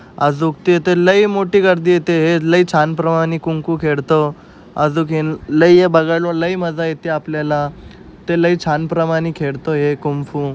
अजूक तिथं लयी मोठी गर्दी हेते है. लयी छान प्रमाणे कुंकू खेळतो. आजूखेन लयी ये बघायलो. लयी मझा येते आपल्याला. ते लय छान प्रमाणे खेडतोय है कुंफू --